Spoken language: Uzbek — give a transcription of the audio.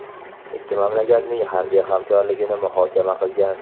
ikki mamlakatning harbiy hamkorligini muhokama qilgan.